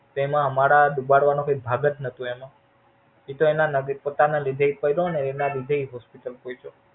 એમાં અમારા ડુબાડવા માં કોઈ ભાગ જ નોતો જ એમાં ઈ તો એના પોતાના લીધે પડો ને એના લીધે Hospital પહોંચ્યો.